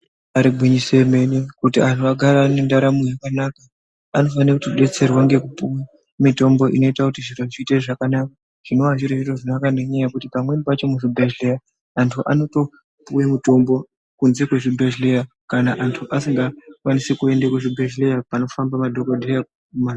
Ibari gwinyiso yemene kuti anhu agare ane ndaramo yakanaka. Anofane kutodetserwa ngekupuwe mitombo inoite kuti zviro zviite zvakanaka. Zvinova zviri zviro zvakanaka nekuti pamweni pacho muzvibhehlera antu anotopuwe mitombo kunze kwezvibhehleya kana antu asingakwanisi kuende kuzvibhehleya panofamba madhokodheya.